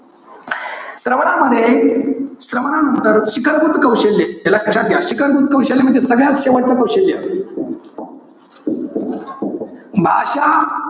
श्रवणामध्ये, श्रवणानंतर शिखरभूत कौशल्य, लक्षात घ्या. शिखरभूत कौशल्य म्हणजे सगळ्यात शेवटचं कौशल्य. भाषा,